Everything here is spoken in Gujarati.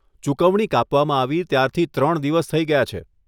ચુકવણી કાપવામાં આવી ત્યારથી ત્રણ દિવસ થઈ ગયા છે.